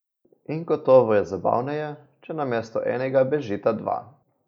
In gotovo je zabavneje, če namesto enega bežita dva.